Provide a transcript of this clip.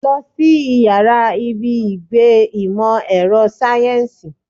Lọ sí ìyára ibi ìgbé ìmò èrò sáyẹ́nsì.